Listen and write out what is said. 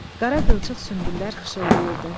Qara qılçıq sünbüllər xışıltayırdı.